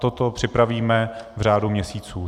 Toto připravíme v řádu měsíců.